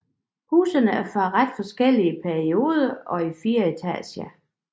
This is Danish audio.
Husene er fra ret forskellige perioder og i fire etager